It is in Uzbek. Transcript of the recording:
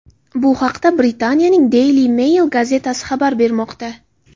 Bu haqda Britaniyaning Daily Mail gazetasi xabar bermoqda.